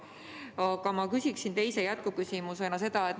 Aga ma küsin jätkuküsimuse.